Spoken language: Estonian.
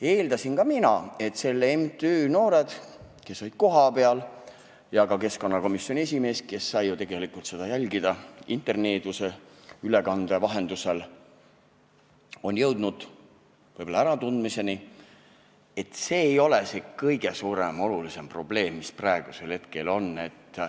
Eeldasin ka mina, et selle MTÜ noored, kes olid kohapeal, ja ka keskkonnakomisjoni esimees, kes sai ju tegelikult seda jälgida interneeduse ülekande vahendusel, on jõudnud võib-olla äratundmisele, et see ei ole see kõige suurem ja olulisem probleem, mis meil praegu on.